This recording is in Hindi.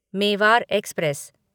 मेवार एक्सप्रेस